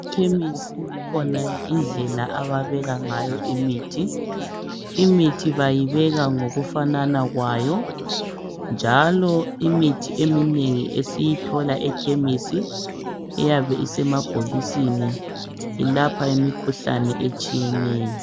Ekhemisi kukhona indlela ababeka ngayo imithi, imithi bayibeka ngokufana kwayo njalo imithi eminengi Esiyithola ekhemisi iyabe isemabhokisini ilapha imikhuhlane etshiyeneyo